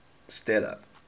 stella